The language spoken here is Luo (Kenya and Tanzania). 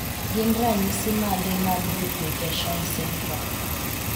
gin ranyisis mage mag 8p23.1 duplication syndrome?